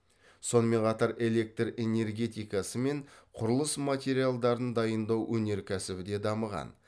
сонымен қатар электр энергетикасы мен құрылыс материалдарын дайындау өнеркәсібі де дамыған